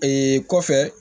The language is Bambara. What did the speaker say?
Ee kɔfɛ